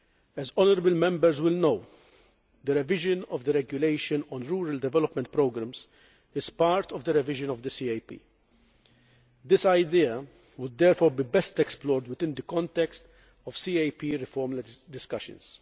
As honourable Members will know, the revision of the regulation on rural development programmes is part of the revision of the CAP. This idea would therefore be best explored within the context of CAP reform discussions.